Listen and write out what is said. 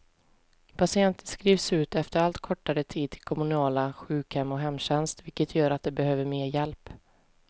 Patienter skrivs ut efter allt kortare tid till kommunala sjukhem och hemtjänst, vilket gör att de behöver mer hjälp.